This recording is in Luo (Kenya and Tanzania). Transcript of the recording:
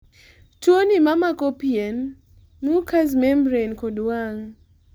Tuoni ma mako pien , mucous membrane kod wang'